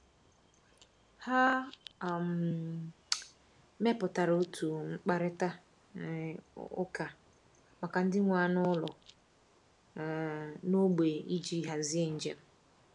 Ha um mepụtara otu mkparịta um ụka maka ndị nwe anụ ụlọ um n’ógbè iji hazie njem.